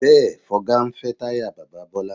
Bẹ́ẹ̀, Fọga ń fẹ́ táyà bàbá Bọ́lá